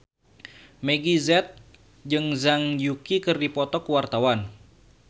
Meggie Z jeung Zhang Yuqi keur dipoto ku wartawan